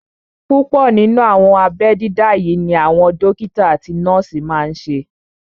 Púpọ̀ nínú àwọn abẹ́ dídá yí ni àwọn dókítà àti nọ́ọ̀sì máa n ṣe